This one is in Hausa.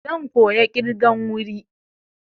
Zan koya ƙirgan wuri.